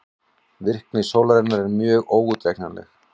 Virkni sólarinnar er mjög óútreiknanleg.